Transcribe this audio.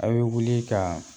A' bɛ wuli ka